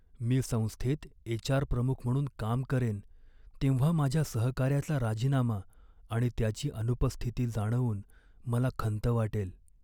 मी संस्थेत एच.आर. प्रमुख म्हणून काम करेन तेव्हा माझ्या सहकाऱ्याचा राजीनामा आणि त्याची अनुपस्थिती जाणवून मला खंत वाटेल.